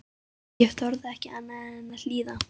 Ég þorði ekki annað en að hlýða.